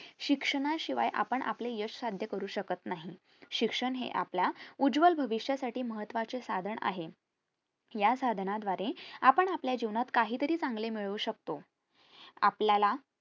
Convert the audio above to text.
शिक्षणाशिवाय आपण आपले यश साध्य करू शकत नाही शिक्षण हे आपला उज्वल भविष्यासाठी महत्वाचे साधन आहे या साधना द्वारे आपण आपल्या जीवनात काहीतरी चांगले मिळवू शकतो आपल्याला